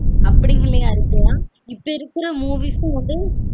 இப்ப இருக்குற movies ம் வ்ந்து அப்டி உண்மை யா இருக்கலான்